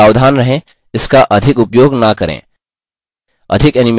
फिर भी सावधान रहें इसका अधिक उपयोग न करें